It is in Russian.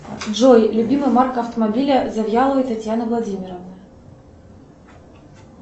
джой любимая марка автомобиля завьяловой татьяны владимировны